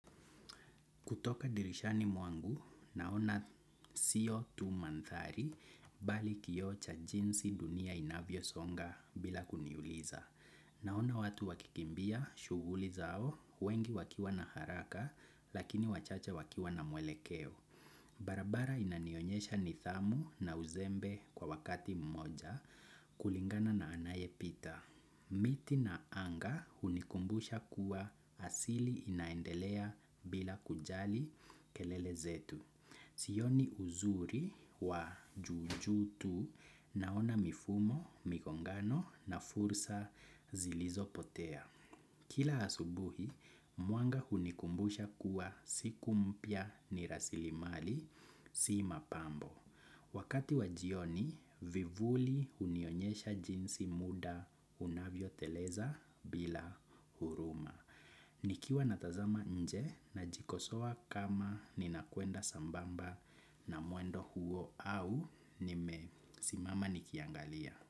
Kutoka dirishani mwangu, naona siyo tu manthari bali kiocha jinsi dunia inavyo songa bila kuniuliza. Naona watu wakikimbia shuguli zao, wengi wakiwa na haraka lakini wachache wakiwa na mwelekeo. Barabara inanionyesha nithamu na uzembe kwa wakati mmoja kulingana na anaye pita. Miti na anga unikumbusha kuwa asili inaendelea bila kujali kelele zetu. Sioni uzuri wa juju tu naona mifumo, mikongano na fursa zilizo potea. Kila asubuhi, muanga hunikumbusha kuwa siku mpya ni rasili mali, si mapambo. Wakati wajioni, vivuli unionyesha jinsi muda unavyo teleza bila huruma. Nikiwa natazama nje na jikosowa kama ninakuenda sambamba na muendo huo au nimesimama nikiangalia.